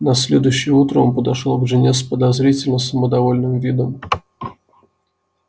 на следующее утро он подошёл к жене с подозрительно самодовольным видом